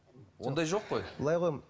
ондай жоқ қой былай ғой